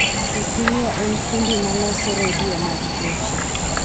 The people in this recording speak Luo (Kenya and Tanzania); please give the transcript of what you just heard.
Cecilia en fundi ma loso redio mag geche